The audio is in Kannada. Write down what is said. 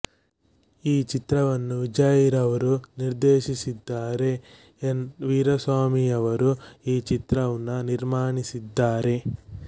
ಈ ಚಿತ್ರವನ್ನು ವಿಜಯ್ರವರು ನಿರ್ದೇಶಿಸಿದ್ದಾರೆ ಎನ್ ವೀರಾಸ್ವಾಮಿರವರು ಈ ಚಿತ್ರವ್ನ್ನು ನಿರ್ಮಾನಿಸಿದ್ದಾರೆ